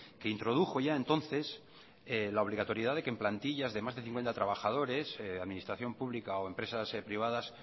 que introdujo ya entonces la obligatoriedad de que en plantillas de más de cincuenta trabajadores administración pública o empresas privadas